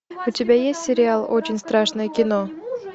у тебя есть сериал очень страшное кино